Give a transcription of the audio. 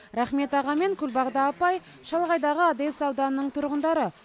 рахмет аға мен күлбағда апай шалғайдағы одес ауданының тұрғындары